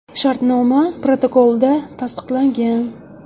Shartnoma protokolda tasdiqlangan.